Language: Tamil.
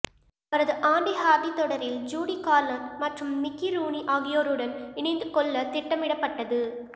அவரது ஆண்டி ஹார்டி தொடரில் ஜூடி கார்லண்ட் மற்றும் மிக்கி ரூனி ஆகியோருடன் இணைந்து கொள்ள திட்டமிடப்பட்டது